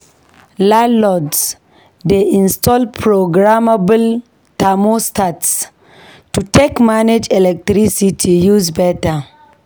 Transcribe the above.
Landlords dey install programmable thermostats to take manage electricity use beta.